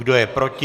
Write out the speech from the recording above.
Kdo je proti?